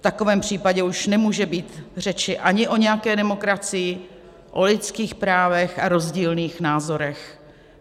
V takovém případě už nemůže být řeči ani o nějaké demokracii, o lidských právech a rozdílných názorech.